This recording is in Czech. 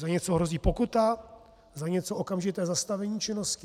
Za něco hrozí pokuta, za něco okamžité zastavení činnosti.